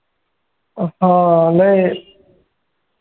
हो लय